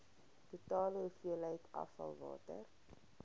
totale hoeveelheid afvalwater